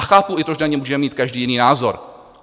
A chápu i to, že na daně můžeme mít každý jiný názor.